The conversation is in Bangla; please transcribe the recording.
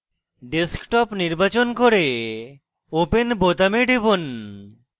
desktop নির্বাচন করে open বোতামে টিপুন